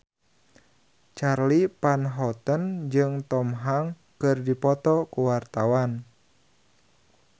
Charly Van Houten jeung Tom Hanks keur dipoto ku wartawan